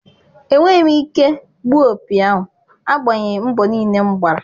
Enweghị m ike gbuọ opi ahụ agbanyeghị mbọ niile m gbara.